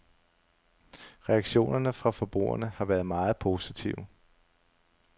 Reaktionerne fra forbrugerne har været meget positive.